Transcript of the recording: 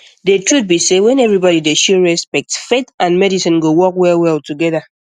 the truth be sey when everybody dey show respect faith and medicine go work well well together